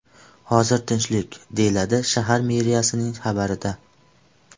Hozir tinchlik”, deyiladi shahar meriyasining xabarida.